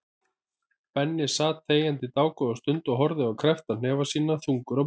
Benni sat þegjandi dágóða stund og horfði á kreppta hnefa sína, þungur á brún.